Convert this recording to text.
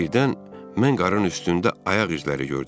Birdən mən qarın üstündə ayaq izləri gördüm.